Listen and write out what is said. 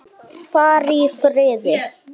Far í friði.